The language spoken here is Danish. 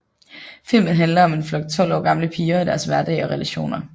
Filmen handler om en flok tolv år gamle piger og deres hverdag og relationer